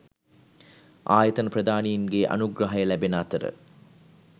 ආයතන ප්‍රධානීන්ගේ අනුග්‍රහය ලැබෙන අතර